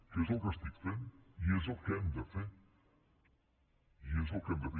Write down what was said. que és el que estic fent i és el que hem de fer és el que hem de fer